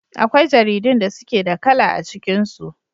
Akwai jaridun da suke da kala a cikin su.